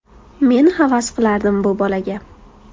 Men havas qilardim bu bolaga.